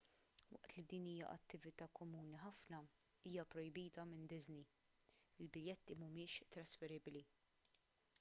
waqt li din hija attività komuni ħafna hija pprojbita minn disney il-biljetti mhumiex trasferibbli